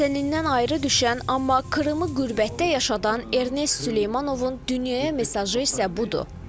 Vətənindən ayrı düşən, amma Krımı qürbətdə yaşadan Ernest Süleymanovun dünyaya mesajı isə budur.